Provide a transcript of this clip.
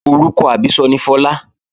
Orúkọ àbísọ ni Fọlá